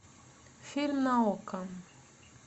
фильм на окко